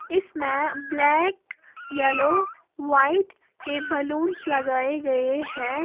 इस में black yellow white के बलूंस लगाए गए है।